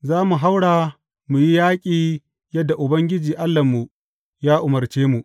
Za mu haura mu yi yaƙi yadda Ubangiji Allahnmu ya umarce mu.